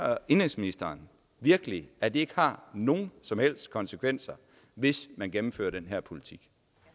og indenrigsministeren virkelig at det ikke har nogen som helst konsekvenser hvis man gennemfører den her politik